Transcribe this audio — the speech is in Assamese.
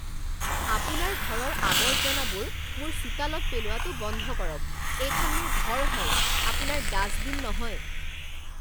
আপোনাৰ ঘৰৰ আৱৰ্জনাবোৰ মোৰ চোতালত পেলোৱাটো বন্ধ কৰক। এইখন মোৰ ঘৰ হয়, আপোনাৰ ডাষ্টবিন নহয়!